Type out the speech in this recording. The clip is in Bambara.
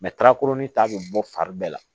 ta bɛ bɔ fari bɛɛ la